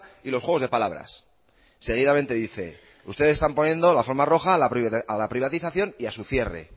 y los juegos de palabras seguidamente dice ustedes están poniendo la alfombra roja a la privatización y a su cierre